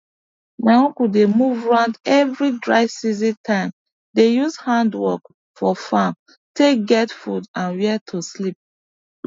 my uncle dey move round every dry season time dey use hand work for farm take get food and where to sleep